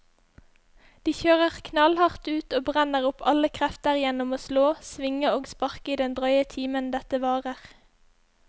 De kjører knallhardt ut og brenner opp alle krefter gjennom å slå, svinge og sparke i den drøye timen dette varer.